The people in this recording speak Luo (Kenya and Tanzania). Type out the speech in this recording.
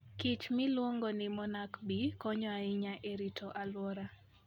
kich miluongo ni monarch bee konyo ahinya e rito alwora.